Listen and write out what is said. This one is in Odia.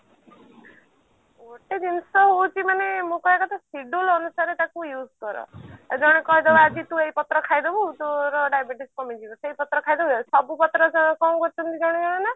ଗୋଟେ ଜିନିଷ ହଉଛି ମାନେ ମୁଁ କହିବା କଥା scheduled ଅନୁସାରେ ତାକୁ use କର ଜଣେ କହିଦବ ଆଜି ତୁ ଏଇ ପତ୍ର ଖାଇଦବୁ ତୋର diabetes କମିଯିବ ସେଇ ପତ୍ର ଖାଇଦବୁ ସବୁ ପତ୍ର କଣ କରୁଛନ୍ତି ଜଣେ ଜଣେ ନା